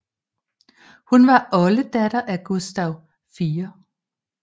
Hun var oldedatter af kong Gustav 4